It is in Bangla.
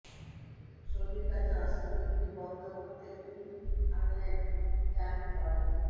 সৌদির কাছে অস্ত্র বিক্রি বন্ধ করতে বিল আনলেন র্যান্ড পল